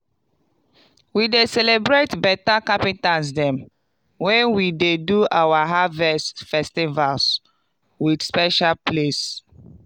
we dey celebrate beta carpenters dem wen we dey do our harvest festivals wit special place.